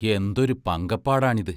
എന്തൊരു പങ്കപ്പാടാണിത്.